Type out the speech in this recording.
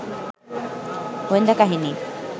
গোয়েন্দা কাহিনী